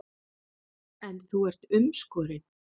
En þú ert umskorinn.